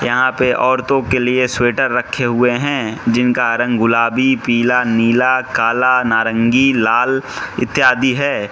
यहां पे औरतों के लिए स्वेटर रखे हुए हैं जिनका रंग गुलाबी पीला नीला काला नारंगी लाल इत्यादि है।